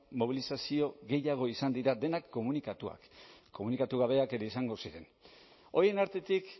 mobilizazio gehiago izan dira denak komunikatuak komunikatu gabeak ere izango ziren horien artetik